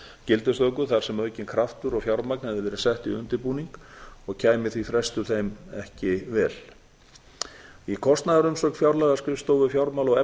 gildistöku þar sem aukinn kraftur og fjármagn hefði verið sett í undirbúning og kæmi því frestur þeim ekki vel í kostnaðarumsögn fjárlagaskrifstofu fjármála og